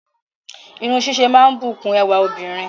Irun ṣíṣe máa ń bùkún ẹwà obìnrin